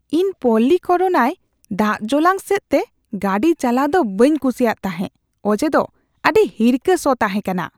ᱤᱧ ᱯᱚᱞᱞᱤᱠᱚᱨᱱᱟᱭ ᱫᱟᱜᱡᱚᱞᱟᱝ ᱥᱮᱫᱛᱮ ᱜᱟᱹᱰᱤ ᱪᱟᱞᱟᱣ ᱫᱚ ᱵᱟᱹᱧ ᱠᱩᱥᱤᱭᱟᱜ ᱛᱟᱦᱮᱸ ᱚᱡᱮᱫᱚ ᱟᱹᱰᱤ ᱦᱤᱨᱠᱟᱹ ᱥᱚ ᱛᱟᱦᱮᱸ ᱠᱟᱱᱟ ᱾